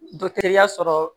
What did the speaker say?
ya sɔrɔ